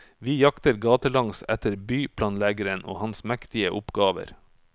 Vi jakter gatelangs etter byplanleggeren og hans mektige oppgaver.